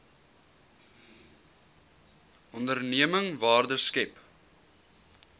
onderneming waarde skep